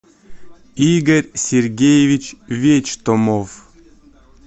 игорь сергеевич вечтомов